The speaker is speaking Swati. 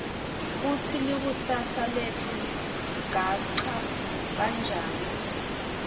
kutsi likusasa letfu ligacha kanjani